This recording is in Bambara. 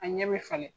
A ɲɛ bɛ falen